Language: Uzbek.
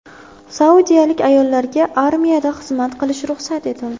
Saudiyalik ayollarga armiyada xizmat qilish ruxsat etildi.